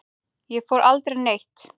Ég fór aldrei neitt.